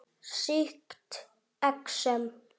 Sýkt exem